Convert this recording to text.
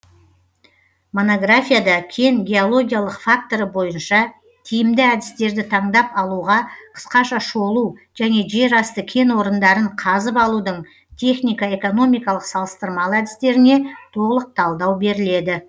монографияда кен геологиялық факторы бойынша тиімді әдістерді таңдап алуға қысқаша шолу және жер асты кен орындарын қазып алудың техника экономикалық салыстырмалы әдістеріне толық талдау беріледі